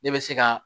Ne bɛ se ka